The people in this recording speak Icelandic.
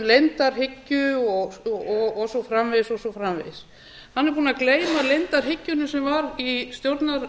framsóknarflokksins talaði um leyndarhyggju og svo framvegis og svo framvegis hann er búinn að gleyma leyndarhyggjunni sem var í stjórnarráðinu